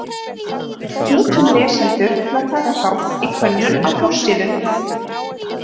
Við hvetjum lesendur til að taka þátt í könnun á forsíðu.